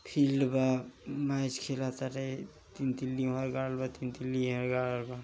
Field वा match खेल आड़े तीन तिल्ली हर गाडल बा तीन तिल्ली यहर गाडल बा।